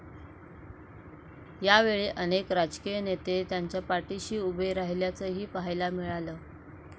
यावेळी अनेक राजकीय नेते त्यांच्या पाठिशी उभे राहिल्याचंही पाहायला मिळालं.